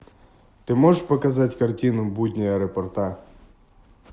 ты можешь показать картину будни аэропорта